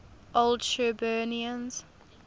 old shirburnians